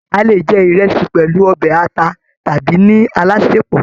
A lè jẹ ìrẹsì pẹlú ọbẹ ata tàbí ní alásèpọ̀.